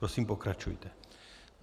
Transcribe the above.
Prosím, pokračujte.